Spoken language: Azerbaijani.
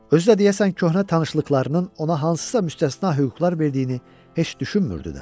Özü də deyəsən köhnə tanışlıqlarının ona hansısa müstəsna hüquqlar verdiyini heç düşünmürdü də.